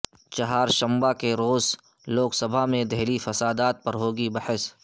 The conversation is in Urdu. چہارشنبہ کے روز لوک سبھا میں دہلی فسادات پر ہوگی بحث